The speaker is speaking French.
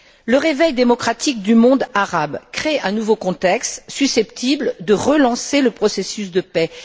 Le réveil démocratique du monde arabe crée un nouveau contexte, susceptible de relancer le processus de paix.